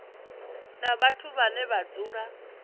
na vhathu vhane vha dzula